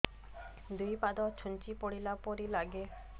ଦୁଇ ପାଦ ଛୁଞ୍ଚି ଫୁଡିଲା ପରି ଲାଗେ